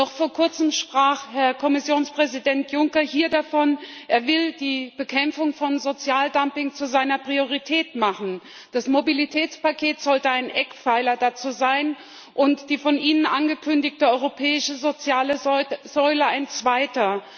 Noch vor kurzem sprach Herr Kommissionspräsident Juncker hier davon, dass er die Bekämpfung von Sozialdumping zu seiner Priorität machen wolle Das Mobilitätspaket sollte ein Eckpfeiler dessen sein und die von Ihnen angekündigte europäische soziale Säule ein zweiter.